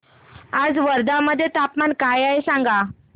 आज वर्धा मध्ये तापमान काय आहे सांगा